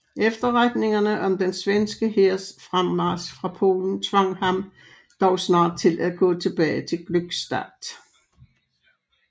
Efterretningerne om den svenske hærs fremmarch fra Polen tvang ham dog snart til at gå tilbage til Glückstadt